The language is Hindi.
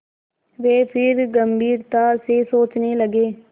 वे फिर गम्भीरता से सोचने लगे